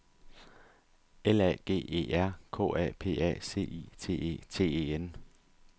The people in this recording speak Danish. L A G E R K A P A C I T E T E N